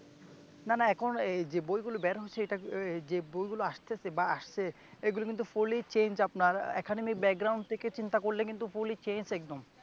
না না এখন এই যেই বইগুলো বের হচ্ছে এটা এর যে বইগুলো আসতেছে বা আসছে এগুলি কিন্তু fully change আপনার এখানে একাডেমী থেকে চিন্তা করলে কিন্তু fully change একদম